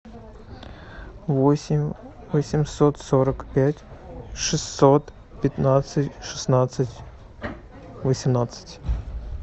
восемь восемьсот сорок пять шестьсот пятнадцать шестнадцать восемнадцать